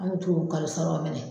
An kun t'u o kalosaraw minɛ.